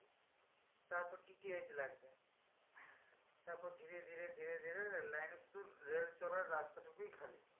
তারপর DTH লাগবে। তারপর ধীরে ধীরে ধীরে ধীরে রেল লাইনের শুধু রেল চলার রাস্তা টুকুই খালি।